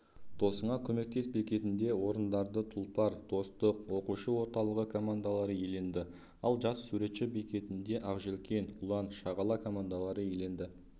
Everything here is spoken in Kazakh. досыңа көмектес бекетінде орындарды тұлпар достар оқушы орталығы командалары иеленді ал жас суретші бекетінде ақжелкен ұлан шағала командалары иеленді